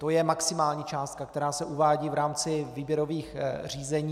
To je maximální částka, která se uvádí v rámci výběrových řízení.